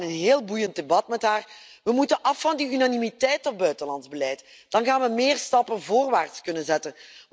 We hadden een heel boeiend debat met haar. We moeten af van die unanimiteit op buitenlands beleid. Dan gaan we meer stappen voorwaarts kunnen zetten.